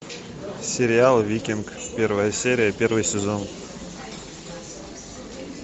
сериал викинг первая серия первый сезон